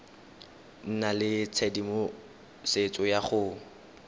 nna le tshedimosetso ya go